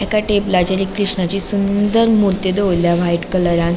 एका टेबलाचेर एक कृष्णाची सुंदर मूर्ती दवोरल्या व्हाइट कलरान .